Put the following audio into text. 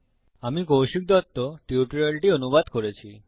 আমি কৌশিক দত্ত টিউটোরিয়ালটি অনুবাদ করেছি